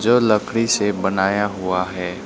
जो लकड़ी से बनाया हुआ हैं।